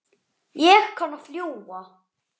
Ekki síst af því.